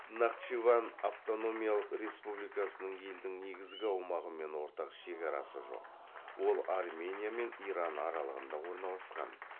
нахчыван автономиялық республикасының елдің негізгі аумағымен ортақ шекарасы жоқ ол армения мен иран аралығында орналасқан